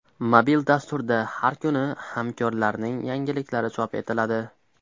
Mobil dasturda har kuni hamkorlarning yangiliklari chop etiladi.